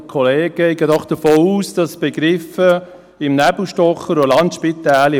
Ich gehe davon aus, dass Begriffe wie im «Nebel stochern» und «Landspitälchen»